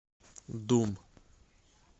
дум